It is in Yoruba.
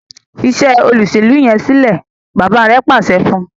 Fí Ṣe Olóṣèlú yén silẹ! bàbá rẹ pàṣẹ fún.